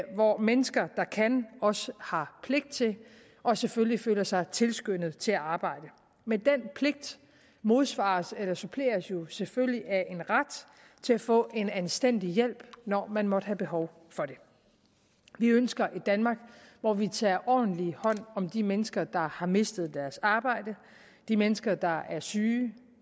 hvor mennesker der kan også har pligt til og selvfølgelig føler sig tilskyndet til at arbejde men den pligt modsvares eller suppleres jo selvfølgelig af en ret til at få en anstændig hjælp når man måtte have behov for det vi ønsker et danmark hvor vi tager ordentlig hånd om de mennesker der har mistet deres arbejde de mennesker der er syge